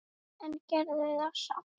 En gerði það samt.